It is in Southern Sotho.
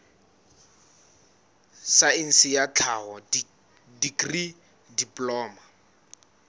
saense ya tlhaho dikri diploma